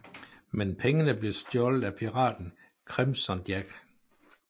Men pengene blev stjålet af piraten Crimson Jack